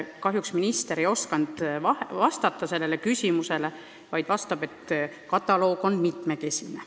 Kahjuks minister ei osanud seda öelda, vastas vaid, et kataloog on mitmekesine.